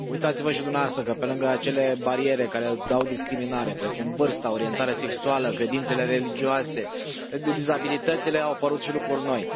Uitați vă și dumneavoastră, că, pe lângă acele bariere care dau discriminare, precum vârsta, orientarea sexuală, credințele religioase, dizabilitățile, au apărut și lucruri noi.